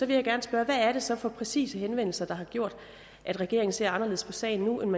vil jeg gerne spørge hvad er det så så præcis for henvendelser der har gjort at regeringen ser anderledes på sagen nu end